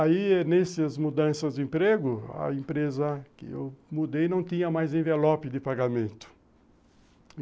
Aí, nessas mudanças de emprego, a empresa que eu mudei não tinha mais envelope de pagamento.